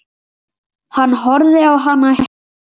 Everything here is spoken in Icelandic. Hann horfði á hana hissa.